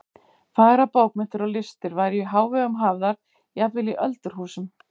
Fagrar bókmenntir og listir væru í hávegum hafðar jafnvel í öldurhúsum.